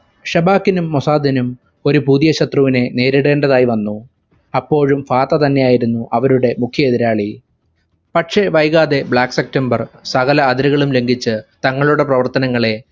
ഷാബാക്കിനും മുസാദിനും ഒരു പുതിയ ശത്രുവിനെ നേരിടേണ്ടതായിവന്നു. അപ്പോഴും ഫാത്തതന്നെയായിരുന്നു അവരുടെ മുഖ്യ എതിരാളി. പക്ഷെ വൈകാതെ black september സകല അതിരുകളും ലങ്കിച് തങ്ങളുടെ പ്രവർത്തനങ്ങളെ